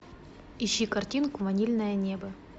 ищи картинку ванильное небо